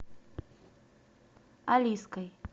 алиской